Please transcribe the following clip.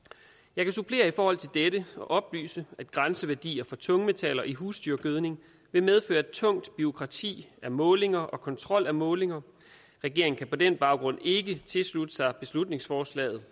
jeg kan supplere i forhold til dette og oplyse at grænseværdier for tungmetaller i husdyrgødning vil medføre et tungt bureaukrati af målinger og kontrol af målinger regeringen kan på den baggrund ikke tilslutte sig beslutningsforslaget